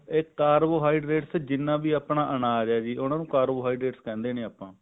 ਇਹ carbohydrate ਜਿੰਨਾ ਵੀ ਅਨਾਜ ਹੈ ਉਹਨੂੰ carbohydrate ਕਹਿੰਦੇ ਹਾਂ ਆਪਾਂ